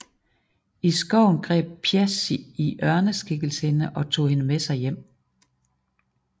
I skoven greb Þjazi i ørneskikkelse hende og tog hende med sig hjem